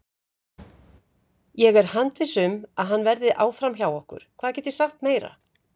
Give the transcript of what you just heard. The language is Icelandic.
Ég er handviss um að hann verði áfram hjá okkur, hvað get ég sagt meira?